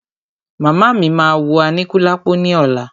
Màmá mí máa wo Aníkúlápò ní ọ̀la.